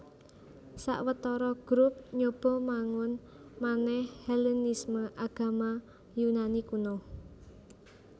Sawetara grup nyoba mangun manèh Hellenisme Agama Yunani kuno